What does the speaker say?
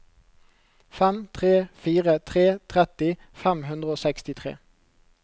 fem tre fire tre tretti fem hundre og sekstitre